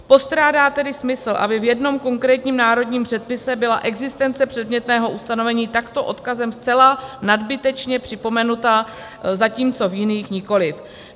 Postrádá tedy smysl, aby v jednom konkrétním národním předpise byla existence předmětného ustanovení takto odkazem zcela nadbytečně připomenuta, zatímco v jiných nikoli.